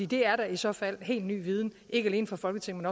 det er da i så fald helt ny viden ikke alene for folketinget